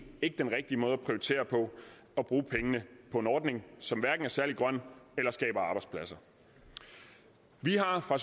ikke den rigtige måde at prioritere på at bruge pengene på en ordning som hverken er særlig grøn eller skaber arbejdspladser vi har fra